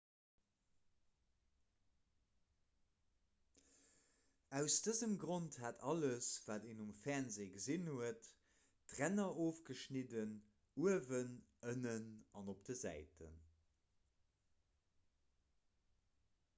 aus dësem grond hat alles wat een um fernsee gesinn huet d'ränner ofgeschnidden uewen ënnen an op de säiten